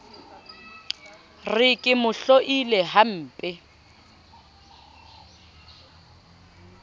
re ke mo hloile hampe